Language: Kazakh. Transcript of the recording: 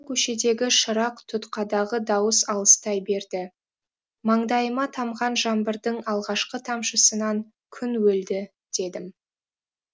көшедегі шырақ тұтқадағы дауыс алыстай берді маңдайыма тамған жаңбырдың алғашқы тамшысынан күн өлді дедім